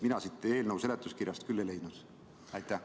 Mina siit eelnõu seletuskirjast küll seda ei leidnud.